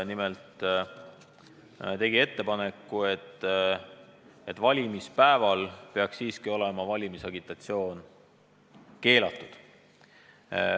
Nimelt tegi liit ettepaneku, et valimispäeval peaks valimisagitatsioon olema siiski keelatud.